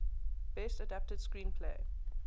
best adapted screenplay